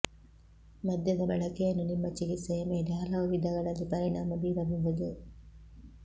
ಮದ್ಯದ ಬಳಕೆಯನ್ನು ನಿಮ್ಮ ಚಿಕಿತ್ಸೆಯ ಮೇಲೆ ಹಲವು ವಿಧಗಳಲ್ಲಿ ಪರಿಣಾಮ ಬೀರಬಹುದು